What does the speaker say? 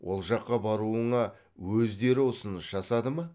ол жаққа баруыңа өздері ұсыныс жасады ма